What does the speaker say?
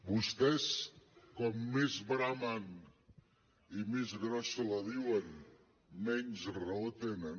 vostès com més bramen i més grossa la diuen menys raó tenen